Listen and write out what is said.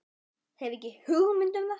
Hef ekki hugmynd um það.